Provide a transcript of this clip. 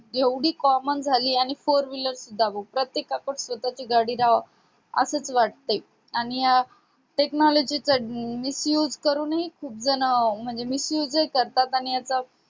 एवढी common झाली आहे आणि four wheeler सुद्धा बघ प्रात्येकाकडं स्वतःची गाडी राहावी असच वाटतय आणि या technology चा misuse करूनही सगळेजण म्हणजे याच misuse जही करतात आणि